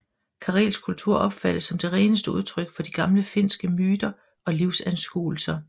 Karelsk kultur opfattes som det reneste udtryk for de gamle finske myter og livsanskuelser